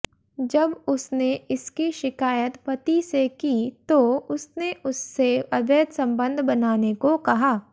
जब उसने इसकी शिकायत पति से कि तो उसने उससे अवैध संबंध बनाने को कहा